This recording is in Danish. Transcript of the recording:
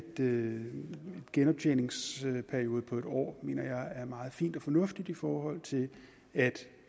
en genoptjeningsperiode på en år mener jeg er meget fint og fornuftigt i forhold til at